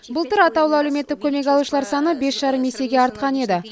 былтыр атаулы әлеуметтік көмек алушылар саны бес жарым есеге артқан еді